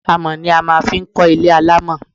Amọ̀ ni a máa fi ń kó ilé alamo.